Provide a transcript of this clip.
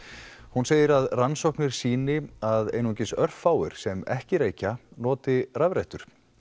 hún segir að rannsóknir sýni að einungis örfáir sem ekki reykja noti rafrettur